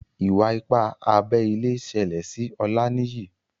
Iwa-ipa abé ilé ṣẹlẹ sí Olaniyi